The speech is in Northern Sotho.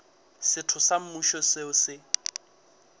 setho sa mmušo seo se